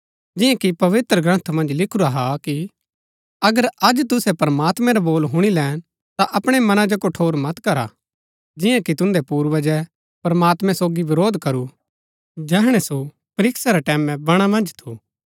जिआं कि पवित्रग्रन्थ मन्ज लिखुरा हा कि अगर अज तुसै प्रमात्मैं रा बोल हुणी लैन ता अपणै मनां जो कठोर मत करा जिआं कि तुन्दै पूर्वजै प्रमात्मैं सोगी विरोध करू जैहणै सो परीक्षा रै टैमैं बणा मन्ज थू